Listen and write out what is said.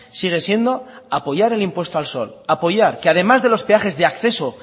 sigue siendo apoyar el impuesto al sol apoyar que además de los peajes de acceso